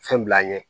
Fɛn bil'an ɲɛ